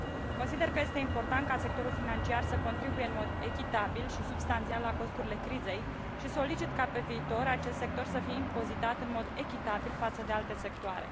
Consider că este important ca sectorul financiar să contribuie în mod echitabil și substanțial la costurile crizei și solicit ca, pe viitor, acest sector să fie impozitat în mod echitabil față de alte sectoare.